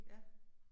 Ja